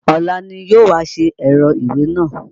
Ọ̀la ni yóò wá ṣe ẹ̀rọ ìwé náà?